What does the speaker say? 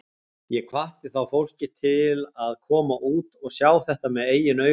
Ég hvatti þá fólkið til að koma út og sjá þetta með eigin augum.